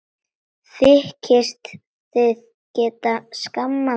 Þykist þið geta skammað mig!